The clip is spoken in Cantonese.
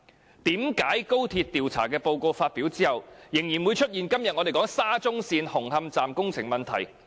為何在高鐵調查報告發表後，仍然會出現我們今天討論的沙中線紅磡站工程問題？